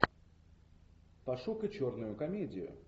пошукай черную комедию